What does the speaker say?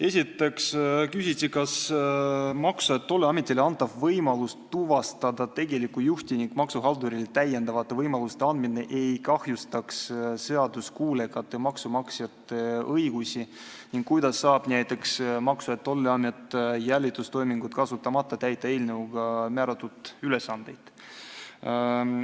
Esiteks küsiti, kas Maksu- ja Tolliametile antav võimalus tuvastada tegelikku juhti ning maksuhaldurile täiendavate võimaluste andmine ei kahjustaks seaduskuulekate maksumaksjate õigusi ning kuidas saab näiteks Maksu- ja Tolliamet jälitustoiminguid kasutamata täita eelnõuga määratud ülesandeid.